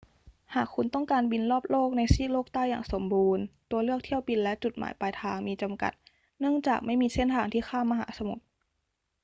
หากคุณต้องการบินรอบโลกในซีกโลกใต้อย่างสมบูรณ์ ตัวเลือกเที่ยวบินและจุดหมายปลายทางมีจำกัดเนื่องจากไม่มีเส้นทางที่ข้ามมหาสมุทร